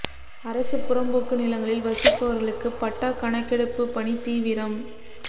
அரசு புறம்போக்கு நிலங்களில் வசிப்பவா்களுக்கு பட்டா கணக்கெடுப்பு பணி தீவிரம்